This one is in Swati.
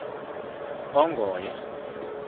ongoye